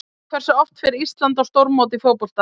Hversu oft fer Ísland á stórmót í fótbolta?